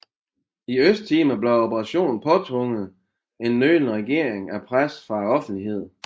I Østtimor blev operationen påtvunget en nølende regering af pres fra offentligheden